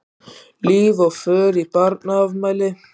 Líf og fjör í barnaafmæli.